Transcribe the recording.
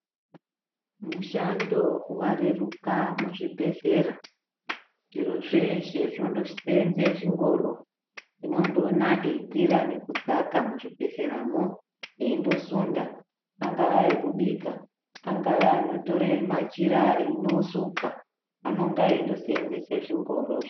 mushando wareruka muzvibhehlera, zviro zveshe zvino seenze zvingoro, tinondoona eikwira nekudzaka muzvibhehleramwo, eindosunda, angava anobika ,angava anotore machira eindosuka anonga eindoseenzese zvingorozvo.